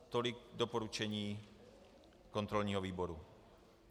Tolik doporučení kontrolního výboru.